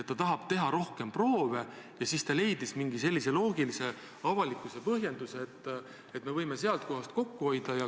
Ta tahab teha rohkem proove ja ta leidis mingi sellise põhjenduse avalikkusele, et me võime sealt kohast kokku hoida.